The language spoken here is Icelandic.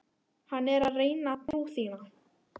Hann er að reyna trú þína.